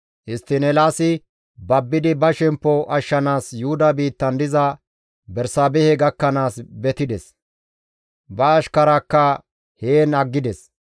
Histtiin Eelaasi babbidi ba shemppo ashshanaas Yuhuda biittan diza Bersaabehe gakkanaas betides; ba ashkaraakka heen aggides.